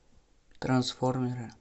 трансформеры